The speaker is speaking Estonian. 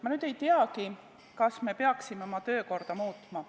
Ma nüüd ei teagi, kas me peaksime oma töökorda muutma.